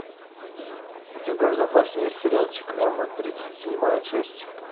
у тебя в запасе есть сериальчик эмма тридцать седьмая часть